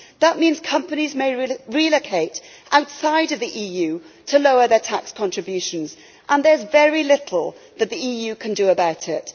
That means companies may relocate outside of the EU to lower their tax contributions, and there is very little that the EU can do about it.